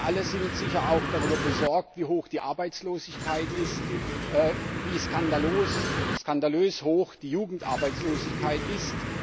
Wir alle sind sicher auch darüber besorgt, wie hoch die Arbeitslosigkeit ist, wie skandalös hoch die Jugendarbeitslosigkeit ist.